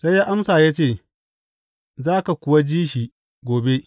Sai ya amsa ya ce, Za ka kuwa ji shi gobe.